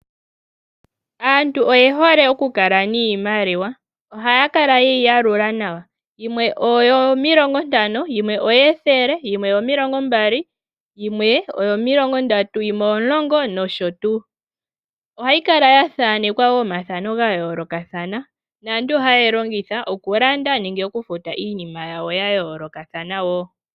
Aantu oye hole oku kala niimaliwa, ohaya kala yeyi yalula nawa. Iimaliwa yimwe oyo milongo ntano, yimwe omadhele, yimwe oyo milongo mbali, yimwe oyo milongo ndatu, yimwe oyo omulongo osho wo tuu. Ohayi kala ta thanekwa wo omathano gayoolokatha naantu ohaya longitha iimaliwa okulanda nenge okufuta iinima yawo ya yolookathana.